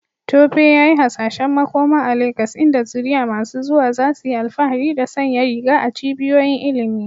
Tope yayi hasashen makoma a Legas inda zuriya masu zuwa za su yi alfahari da sanya riga a cibiyoyin ilimi.